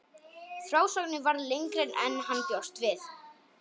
Frásögnin varð lengri en hann bjóst við.